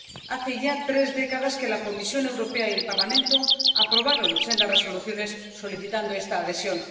Hace ya tres décadas que la Comisión Europea y el Parlamento aprobaron sendas resoluciones solicitando esta adhesión.